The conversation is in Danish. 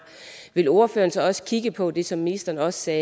vil ordføreren så også kigge på det som ministeren også sagde